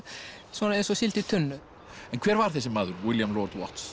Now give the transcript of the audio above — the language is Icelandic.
svona eins og síld í tunnu en hver var þessi maður William lord